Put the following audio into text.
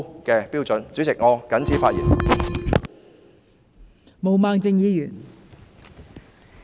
代理主席，我謹此陳辭。